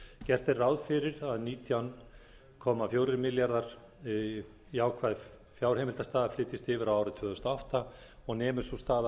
gert er ráð fyrir að nítján þúsund fjögur hundruð áttatíu og tvö komma eina milljón jákvæð fjárheimildastaða flytjist yfir á árið tvö þúsund og átta og nemur sú staða